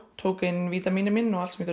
tók inn vítamín